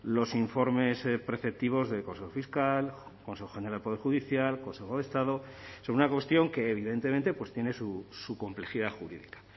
los informes preceptivos del consejo fiscal consejo general del poder judicial consejo de estado sobre una cuestión que evidentemente tiene su complejidad jurídica